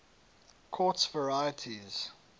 quartz varieties